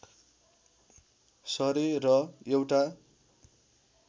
सरे र एउटा